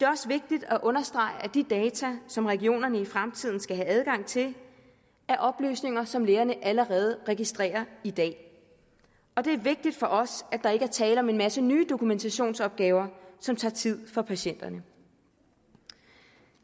også vigtigt at understrege at de data som regionerne i fremtiden skal have adgang til er oplysninger som lægerne allerede registrerer i dag det er vigtigt for os at der ikke er tale om en masse nye dokumentationsopgaver som tager tid fra patienterne